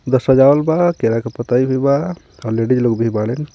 सजावल बा केरा के पतयी भी बा आ लेडिज लोग भी बाड़ीन.